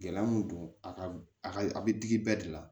Gɛlɛya mun don a ka a ka a be digi bɛɛ de la